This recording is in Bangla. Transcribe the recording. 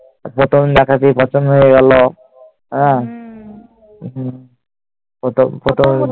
প্রথম দেখাতেই পছন্দ হয়ে গেল। হম প্রথম প্রথম